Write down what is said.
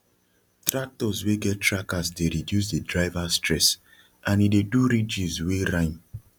tractors wey get trackers dey reduce the driver stress and e dey do ridges wey rhyme